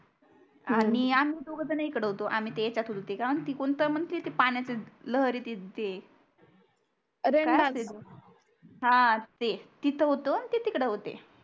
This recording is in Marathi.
आणि आम्ही दोगझण इकड होतो आम्ही ते चतुर ते काय म्हणते कोणत म्हणते ते पाण्याची लहरी दिसते रेनबोअसते तो काय असते तो हा ते तिथ होतो ते तिकडे होते